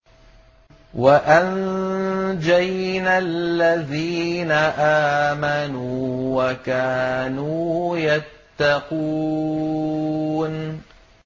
وَأَنجَيْنَا الَّذِينَ آمَنُوا وَكَانُوا يَتَّقُونَ